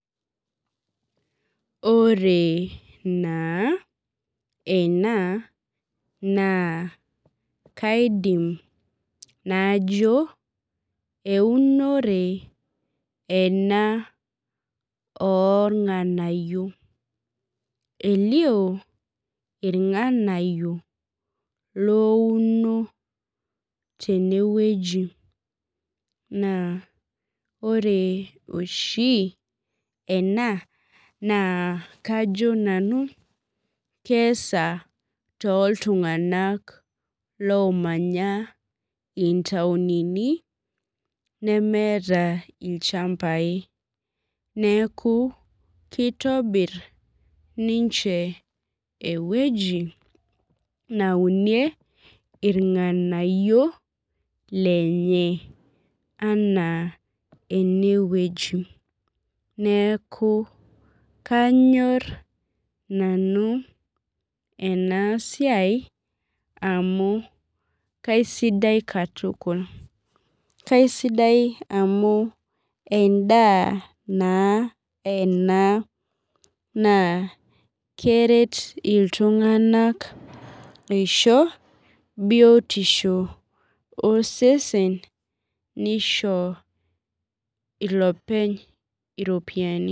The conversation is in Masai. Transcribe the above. Ore naa ena naa kaidim najo eunore ena oong'anayio elio ilng'anayio loouno tene wueji naa ore oshi ena naa kajo nanu keesa tooltung'anak loomanya itaonini nemeeta ilchambai neaku keitobirr ninche ewueji naunie ilng'anayio lenye anaa ene wueji neaku kanyorr nanu ena siai amu keisidai katukul keisidai amu endaa naa enaa naa keret itung'anak eisho biotisho osesen neisho beisho ilopeny iropiyiani